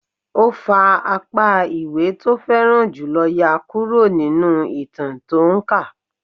Ó fa apá ìwé tó fẹ́ràn jù lọ yá kúrò nínú ìtàn tó ń kà